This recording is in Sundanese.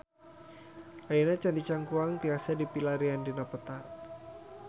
Ayeuna Candi Cangkuang tiasa dipilarian dina peta